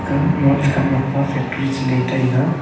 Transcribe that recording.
aa mon che khan mok pa factory che le taiga.